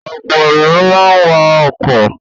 Ọ̀pọ̀ ènìyàn máa ń wa ọkọ̀.